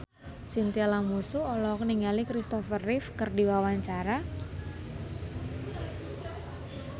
Chintya Lamusu olohok ningali Kristopher Reeve keur diwawancara